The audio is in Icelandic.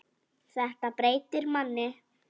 Þetta breytir manni.